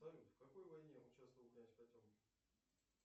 салют в какой войне участвовал князь потемкин